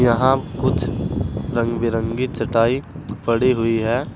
यहां कुछ रंग बिरंगी चटाई पड़ी हुई है।